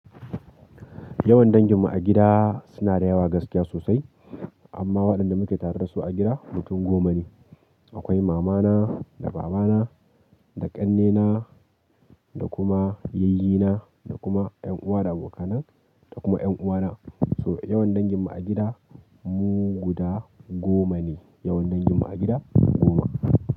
Yawan danginmu a gida suna da yawa gaskiya sosai, amma waɗanda muke tare da su a gida mutum goma ne. Akwai mamana da babana, da ƙannena da kuma yayyina, da kuma ƴan uwa da aboka nai, da kuma ƴan uwana. So yawan danginmu a gida mu guda goma ne. Yawan danginmu a gida goma.